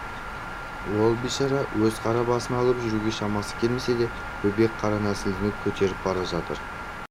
ол бейшара өз қара басын алып жүруге шамасы келмесе де бөбек қара нәсілдіні көтеріп бара жатыр